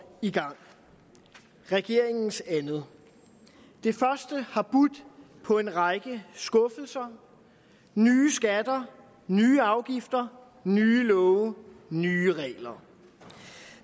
i gang regeringens andet det første har budt på en række skuffelser nye skatter nye afgifter nye love nye regler